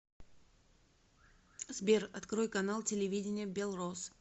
сбер открой канал телевидения белрос